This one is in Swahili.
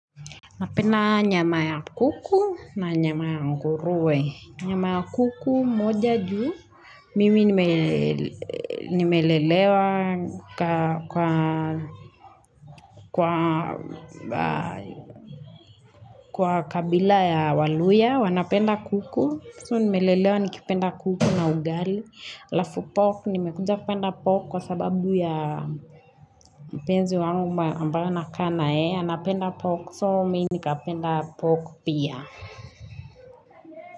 Napenda nyama ya kuku na nyama ya nguruwe. Nyama ya kuku, moja juu, mimi nimelelewa kwa kwa kabila ya waluhya, wanapenda kuku. So nimelelewa nikipenda kuku na ugali. Halafu pork, nimekuja kupenda pork kwa sababu ya mpenzi wangu ambaye nakaa na yeye. Anapenda pork, so mimi nikapenda pork pia.